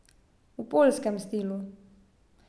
V poljskem stilu.